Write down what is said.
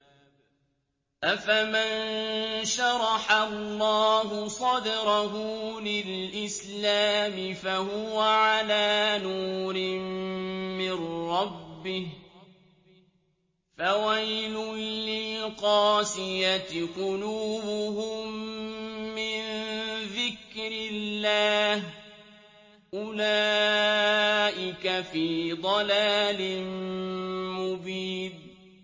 أَفَمَن شَرَحَ اللَّهُ صَدْرَهُ لِلْإِسْلَامِ فَهُوَ عَلَىٰ نُورٍ مِّن رَّبِّهِ ۚ فَوَيْلٌ لِّلْقَاسِيَةِ قُلُوبُهُم مِّن ذِكْرِ اللَّهِ ۚ أُولَٰئِكَ فِي ضَلَالٍ مُّبِينٍ